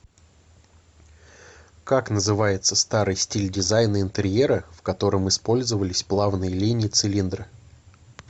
как называется старый стиль дизайна интерьера в котором использовались плавные линии цилиндра